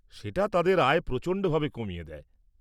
সেটা তাদের আয় প্রচণ্ডভাবে কমিয়ে দেয়।